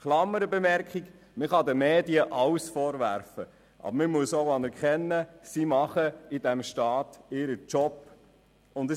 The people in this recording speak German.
Eine Klammerbemerkung: Man kann den Medien alles vorwerfen, aber man muss auch anerkennen, dass sie in diesem Staat ihren Job machen.